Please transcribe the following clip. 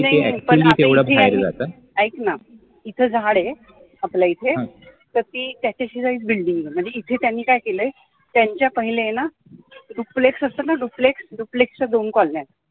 ऐक ना इथे झाडं आहे आपल्याइथे, तर ती त्याच्या शेजारीच building आहे म्हणजे इथे त्यांनी काय केलाय त्यांच्या पहिले आहे ना duplex असत ना duplex duplex च्या दोन कॉलन्या